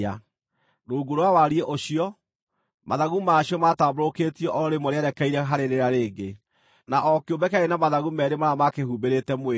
Rungu rwa wariĩ ũcio, mathagu ma cio maatambũrũkĩtio o rĩmwe rĩerekeire harĩ rĩrĩa rĩngĩ, na o kĩũmbe kĩarĩ na mathagu meerĩ marĩa maakĩhumbĩrĩte mwĩrĩ.